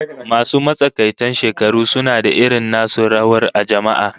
Masu matsakaitan shekaru suna da irin nasu rawar a jama'a